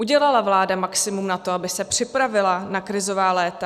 Udělala vláda maximum na to, aby se připravila na krizová léta?